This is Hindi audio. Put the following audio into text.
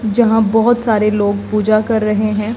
जहां बहोत सारे लोग पूजा कर रहे हैं।